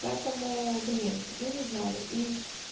поэтому блин ну не знаю и